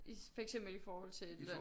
For eksempel i forhold til